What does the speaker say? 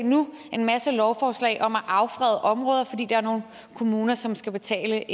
en masse lovforslag om at affrede områder fordi der er nogle kommuner som skal betale